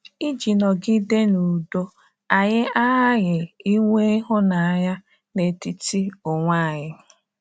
Iji nọgide n’udo, anyị aghaghị inwe ịhụnanya n’etiti onwe anyị.